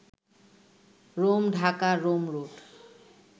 Rome-Dhaka-Rome root